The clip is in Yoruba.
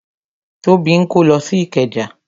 Tóbi ń kó lọ sí ikeja